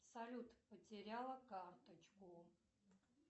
салют потеряла карточку